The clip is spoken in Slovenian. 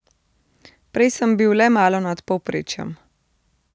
Prej sem bi le malo nad povprečjem.